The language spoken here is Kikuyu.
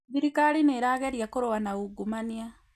thirikari nĩtageria kũrũa na ungumania